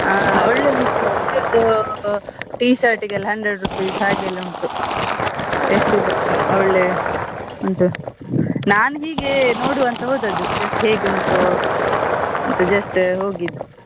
ಹಾ ಒಳ್ಳೆದುಂಟು t shirt ಗೆಲ್ಲ hundred rupees ಹಾಗೆಲ್ಲ ಉಂಟು ಒಳ್ಳೆ ಉಂಟು ನಾನ್ ಹೀಗೆ ನೋಡುವ ಅಂತ ಹೋದದ್ just ಹೇಗೆ ಉಂಟು ಅಂತ just ಹೋಗಿದ್.